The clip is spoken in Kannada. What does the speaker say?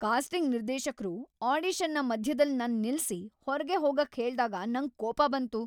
ಕಾಸ್ಟಿಂಗ್ ನಿರ್ದೇಶಕ್ರು ಆಡಿಷನ್‌ನ ಮಧ್ಯದಲ್ ನನ್ ನಿಲ್ಸಿ ಹೊರ್ಗೆ ಹೋಗಾಕ್ ಹೇಳ್ದಾಗ ನಂಗ್ ಕೋಪ ಬಂತು.